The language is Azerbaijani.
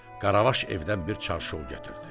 Qaravaş evdən bir çarşov gətirdi.